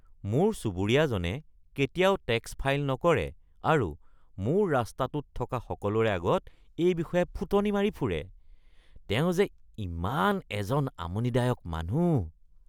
মোৰ চুবুৰীয়াজনে কেতিয়াও টেক্স ফাইল নকৰে আৰু মোৰ ৰাস্তাটোত থকা সকলোৰে আগত এই বিষয়ে ফুটনি মাৰি ফুৰে। তেওঁ যে ইমান এজন আমনিদায়ক মানুহ।